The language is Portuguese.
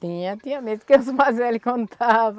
Tinha, tinha medo que os mais velho contava.